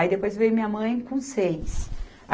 Aí depois veio minha mãe com seis.